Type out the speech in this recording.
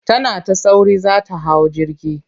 Tana ta sauri za ta hau jirgi.